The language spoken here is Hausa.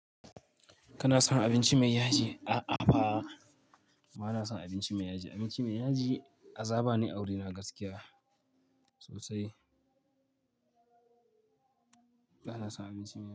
Kana son abinci mai yaji? A'a fa. Bana son abinci mai yaji. Abinci mai yaji azaba ne a wuri na gaskiya sosai. Bana son abinci mai yaji.